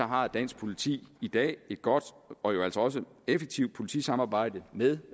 har dansk politi i dag et godt og også effektivt politisamarbejde med